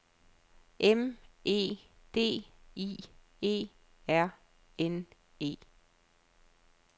M E D I E R N E